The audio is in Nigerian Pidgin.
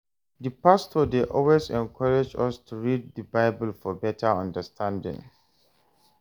Di pastor dey always encourage us to read di Bible for better understanding.